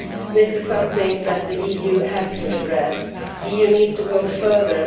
This is something that the EU has to address. The EU needs to go further.